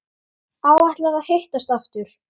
Áætlað að hittast aftur?